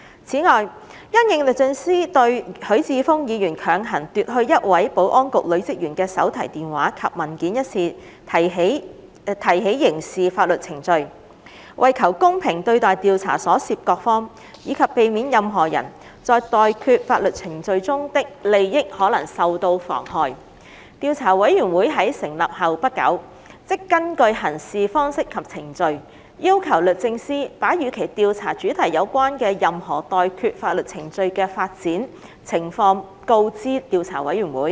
此外，因應律政司對許智峯議員強行奪去一位保安局女職員的手提電話及文件一事提起刑事法律程序，為求公平對待調查所涉各方，以及避免任何人在待決法律程序中的利益可能受到妨害，調查委員會在成立後不久，即根據《行事方式及程序》，要求律政司把與其調查主題有關的任何待決法律程序的發展情況告知調查委員會。